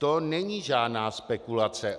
To není žádná spekulace.